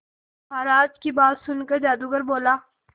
महाराज की बात सुनकर जादूगर बोला